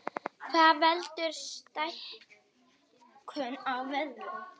Hvað veldur stækkun á vöðvum?